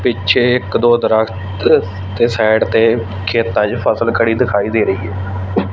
ਪਿੱਛੇ ਇੱਕ ਦੋ ਦਰਖਤ ਤੇ ਸਾਈਡ ਤੇ ਖੇਤਾਂ ਚ ਫਸਲ ਖੜੀ ਦਿਖਾਈ ਦੇ ਰਹੀ ਹ।